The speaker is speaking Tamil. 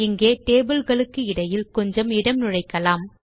இங்கே டேபிள் களுக்கிடையில் கொஞ்சம் இடம் நுழைக்கலாம்